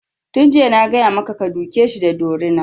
Tun jiya na gaya maka ka duke shi da dorina!